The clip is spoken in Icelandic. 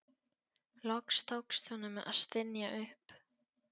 Loks tókst honum að stynja upp